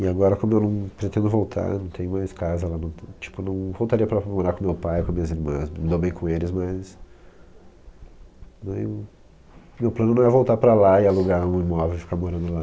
E agora como eu não pretendo voltar, não tenho mais casa, tipo eu não voltaria para morar com meu pai, com minhas irmãs, me dou bem com eles, mas... Meu plano não é voltar para lá e alugar um imóvel e ficar morando lá.